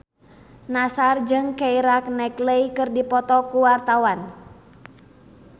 Nassar jeung Keira Knightley keur dipoto ku wartawan